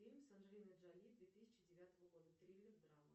фильм с анджелиной джоли две тысячи девятого года триллер драма